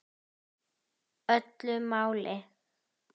Öllu máli.